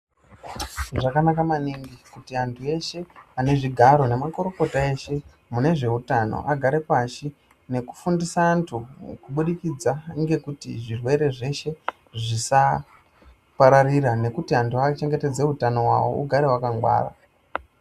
Zvakanaka maningi kuti antu eshe anezvigaro nemakorokota eshe mune zveutano, agare pashi nokufundisa antu, kubudikidza ngekuti zvirwere zveshe zvisapararira ,nokuti antu achengetedze utano wavo ugare wakangwara.